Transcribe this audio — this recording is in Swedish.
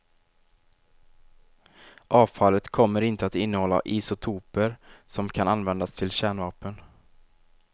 Avfallet kommer inte att innehålla isotoper som kan användas till kärnvapen.